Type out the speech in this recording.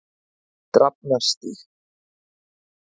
Drafnarstíg